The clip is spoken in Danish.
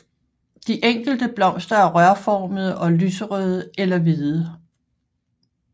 De enkelte blomster er rørformede og lyserøde eller hvide